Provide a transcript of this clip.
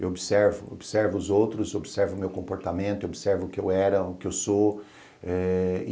Eu observo, eu observo os outros, observo o meu comportamento, observo o que eu era, o que eu sou. Eh